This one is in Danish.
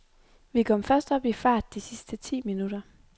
Vi kom først op i fart de sidste ti minutter.